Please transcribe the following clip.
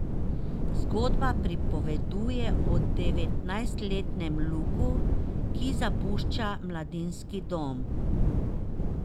Zgodba pripoveduje o devetnajstletnem Luku, ki zapušča mladinski dom.